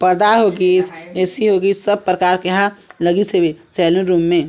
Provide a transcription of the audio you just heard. पर्दा होगिस A C होगिस सब प्रकार के एहा लगिस होगी सैलून रूम में--